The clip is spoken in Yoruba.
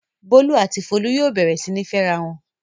Bólú àti Folú yóò bẹ̀rẹ̀ sí ní fẹ́ra wọn!